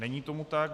Není tomu tak.